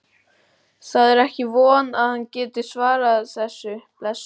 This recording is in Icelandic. Það er ekki von að hann geti svarað þessu, blessaður.